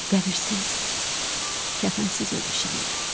Qəbirsiz, kəfənsiz ölmüşəm elə.